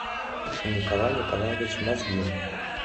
николай николаевич мозгин